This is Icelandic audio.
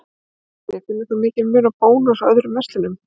Sindri: Finnur þú mikinn mun á Bónus og öðrum verslunum?